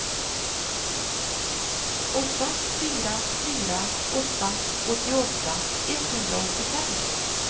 åtta fyra fyra åtta åttioåtta etthundraåttiofem